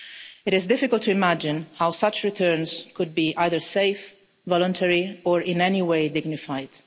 It is difficult to imagine how such returns could be either safe, voluntary or in any way dignified.